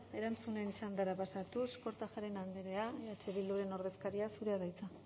erantzunen txandara pasatuz kortajarena andrea eh bilduren ordezkaria zurea da hitza